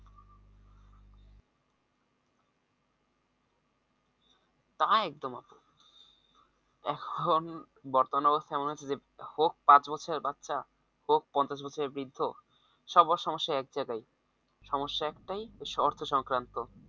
তা একদম আপু এখন বর্তমান অবস্থা এমন যে হোক পাঁচ বছর এর বাচ্চা হোক পঞ্চাশ বছর এর বৃদ্ধ, সবার সমস্যা এক জায়গায় সমস্যা এক টাই অর্থসংক্রান্ত